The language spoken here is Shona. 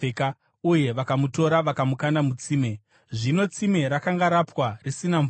uye vakamutora vakamukanda mutsime. Zvino tsime rakanga rapwa risina mvura.